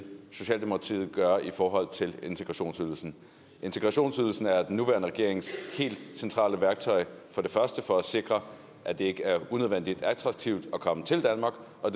socialdemokratiet vil gøre i forhold til integrationsydelsen integrationsydelsen er den nuværende regerings helt centrale værktøj for det første for at sikre at det ikke er unødvendig attraktivt at komme til danmark og